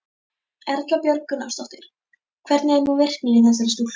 Erla Björg Gunnarsdóttir: Hvernig er nú virknin í þessari stúlku?